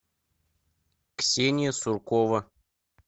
ксения суркова